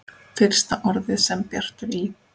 Fyrsta orðið sem Bjartur í